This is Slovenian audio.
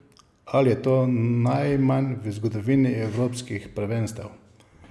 Ali je to najmanj v zgodovini evropskih prvenstev?